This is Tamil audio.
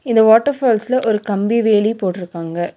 இந்த வாட்டர் ஃபால்ஸ்ல ஒரு கம்பி வேலி போட்ருக்காங்க.